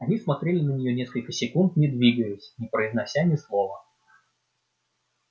они смотрели на нее несколько секунд не двигаясь не произнося ни слова